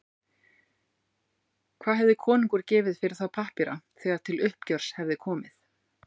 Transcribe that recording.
Hvað hefði konungur gefið fyrir þá pappíra þegar til uppgjörs hefði komið?